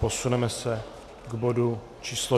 Posuneme se k bodu číslo